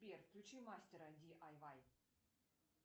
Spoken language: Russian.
сбер включи мастера ди ай вай